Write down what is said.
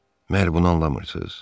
Məgər bunu anlamırsız?